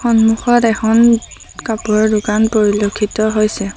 সন্মুখত এখন কাপোৰৰ দোকান পৰিলক্ষিত হৈছে।